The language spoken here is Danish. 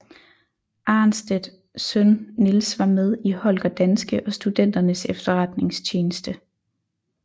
Arnstedt søn Niels var med i Holger Danske og Studenternes Efterretningstjeneste